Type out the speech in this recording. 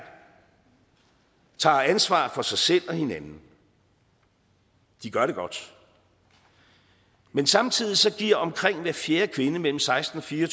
tager ansvar for sig selv og hinanden de gør det godt men samtidig giver omkring hver fjerde kvinde mellem seksten og fire